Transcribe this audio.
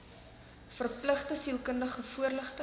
verpligte sielkundige voorligting